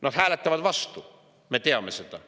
Nad hääletavad vastu, me teame seda.